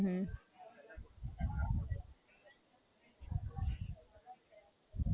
અચ્છા.